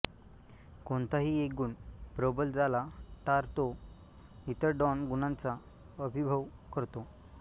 कोणताही एक गुण प्रबल जाला टार तो इतर डॉन गुणांचा अभिभव करतो